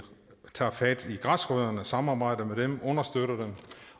tager fat i græsrødderne samarbejder med dem understøtter dem